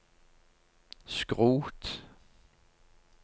skrot